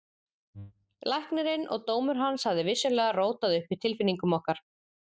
Læknirinn og dómur hans hafði vissulega rótað upp í tilfinningum okkar.